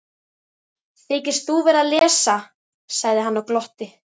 Þykist þú vera að lesa, sagði hann og glotti.